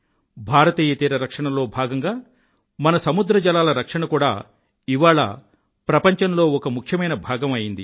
భారతీయ తీర రక్షణలో భాగంగా మన సముద్రజలాల రక్షణ కూడా ఇవాళ ప్రపంచంలో ఒక ముఖ్యమైన భాగం అయింది